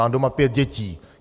Mám doma pět dětí.